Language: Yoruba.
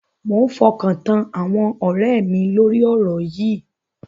Mo ń fọkàn tán àwọn ọ̀rẹ́ mi lórí ọ̀rọ̀ yìí.